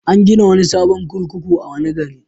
An gina wani sabon kurkuku a wani gari.